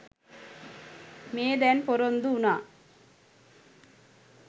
මේ දැන් පොරොන්දු වුණා.